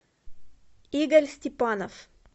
игорь степанов